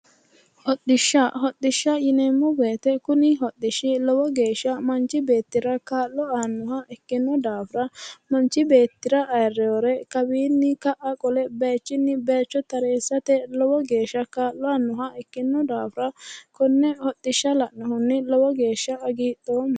Hodhishsha yineemmo woyite kuni hodhishshi lowo geeshsha manchi beetira kaa'lo aannoha ikino daafira manchi beetira aayirewore kawiiniyi ka'a qole bayichinni bayicho tareessate lowo geeshsha kaa'lo aannoha ikino daafira konne hodhishsha la'nohunni lowo geeshsha hagidhoomma